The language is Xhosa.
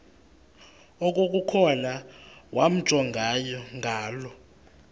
okukhona wamjongay ngaloo